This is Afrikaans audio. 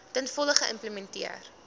ten volle geïmplementeer